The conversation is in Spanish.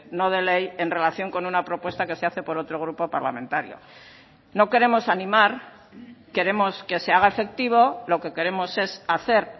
no de ley en relación con una propuesta que se hace por otro grupo parlamentario no queremos animar queremos que se haga efectivo lo que queremos es hacer